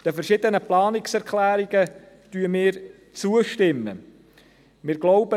Den verschiedenen Planungserklärungen stimmen wir zu.